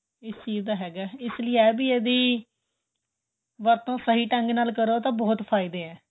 ਇਸ ਚੀਜ ਦਾ ਹੈਗਾ ਏ ਇਸ ਲਈ ਏਹ ਵੀ ਇਹਦੀ ਵਰਤੋ ਸਹੀਂ ਢੱਗ ਨਾਲ ਕਰੋ ਤਾਂ ਬਹੁਤ ਫਾਇਦੇ ਏ